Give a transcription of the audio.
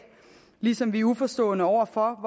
ligesom vi er uforstående over for